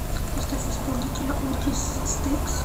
поставь исполнителя отис стэкс